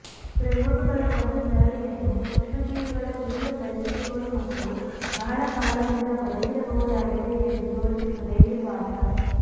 ಪ್ರಯೋಗಗಳ ಒಂದು ಸರಣಿಯನ್ನು ಸೂಕ್ಷ್ಮಜೀವಿಗಳ ತೀವ್ರ ಪರಿಸ್ಥಿತಿಗಳು ಮತ್ತು ಬಹಳ ಕಾಲದಿಂದ ಬದುಕಿರಬಹುದಾಗಿದೆ ಎಂದು ತೋರಿಸುತ್ತದೆ ನಿರ್ವಾತ